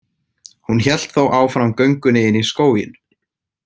Hún hélt þó áfram göngunni inn í skóginn.